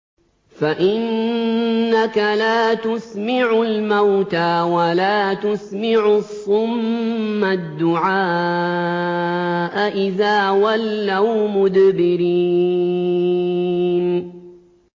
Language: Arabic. فَإِنَّكَ لَا تُسْمِعُ الْمَوْتَىٰ وَلَا تُسْمِعُ الصُّمَّ الدُّعَاءَ إِذَا وَلَّوْا مُدْبِرِينَ